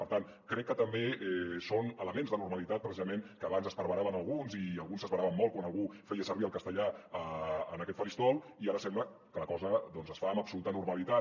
per tant crec que també són elements de normalitat precisament que abans esparveraven a alguns i alguns s’esveraven molt quan algú feia servir el castellà en aquest faristol i ara sembla que la cosa doncs es fa amb absoluta normalitat